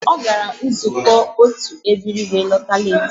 Ọ gara nzukọ otụ ebiri wee lọta leetị